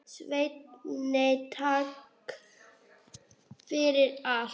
Svenni, takk fyrir allt.